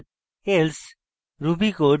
else ruby code